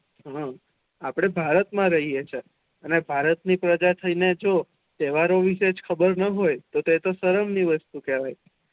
હમ અપડે ભારત મા રહીએ છીએ અને ભારત ની પ્રજા થઇ ને જો તેહવારો વિશે ખબર ના હોય તો એ તો શરમ ની વસ્તુ કેહવાય